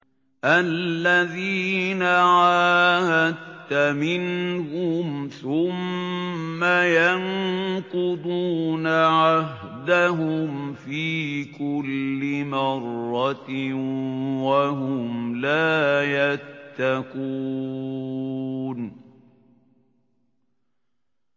الَّذِينَ عَاهَدتَّ مِنْهُمْ ثُمَّ يَنقُضُونَ عَهْدَهُمْ فِي كُلِّ مَرَّةٍ وَهُمْ لَا يَتَّقُونَ